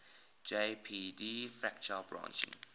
jpg fractal branching